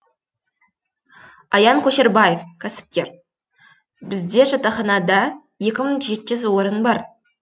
аян көшербаев кәсіпкер бізде жатақханада екі мың жеті жүз орын бар